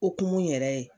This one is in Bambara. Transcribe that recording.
Okumu yɛrɛ